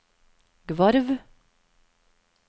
Gvarv